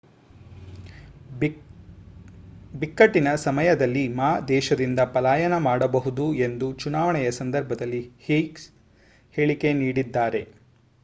ಬಿಕ್ಕಟ್ಟಿನ ಸಮಯದಲ್ಲಿ ಮಾ ದೇಶದಿಂದ ಪಲಾಯನ ಮಾಡಬಹುದು ಎಂದು ಚುನಾವಣೆಯ ಸಂದರ್ಭದಲ್ಲಿ ಹ್ಸೀಹ್ ಹೇಳಿಕೆ ನೀಡಿದ್ದಾರೆ